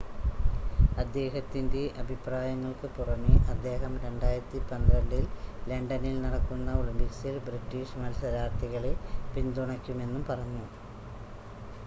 അദ്ദേഹത്തിൻ്റെ അഭിപ്രായങ്ങൾക്ക് പുറമേ അദ്ദേഹം 2012 ൽ ലണ്ടനിൽ നടക്കുന്ന ഒളിമ്പിക്സിൽ ബ്രിട്ടീഷ് മത്സരാർത്ഥികളെ പിന്തുണക്കുമെന്നും പറഞ്ഞു